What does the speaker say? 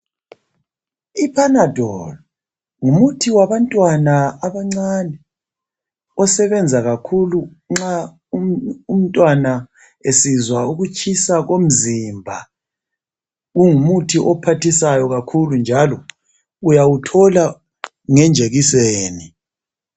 I panadol ngumuthi wabantwana abancane osebenza kakhulu nxa umntwana esizwa ukutshisa komzimba. Kungumuthi ophathisayo kakhulu njalo uyawuthola ngenjekiseni.